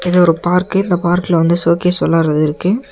இது ஒரு பார்க்கு இந்த பார்க்ல வந்து வெளாடறது இருக்கு.